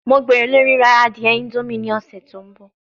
Mo gbero lori rira adie indomie ni ọsẹ to nbọ